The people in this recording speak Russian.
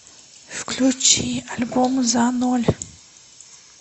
включи альбом за ноль